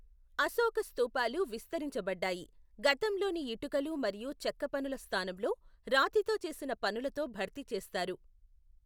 అశోక స్థూపాలు విస్తరించబడ్డాయి, గతంలోని ఇటుకలు మరియు చెక్క పనుల స్థానంలో రాతితో చేసిన పనులతో భర్తీ చేస్తారు.